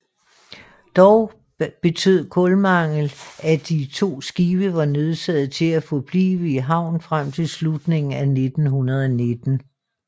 Dog betød kulmangel at de to skibe var nødsaget til at forblive i havn frem til slutningen af 1919